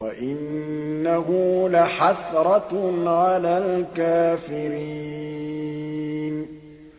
وَإِنَّهُ لَحَسْرَةٌ عَلَى الْكَافِرِينَ